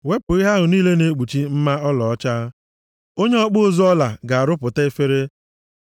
Wepụ ihe ahụ niile na-ekpuchi mma ọlaọcha, onye ọkpụ ụzụ ọla ga-arụpụta efere;